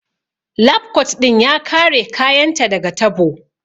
Lab kot ɗin ya kare kayan ta daga tabo